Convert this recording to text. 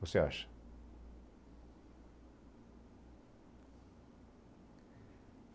Você acha?